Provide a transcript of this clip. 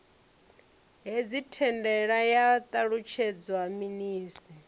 hedzi thandela ya ṱalutshedzwa minis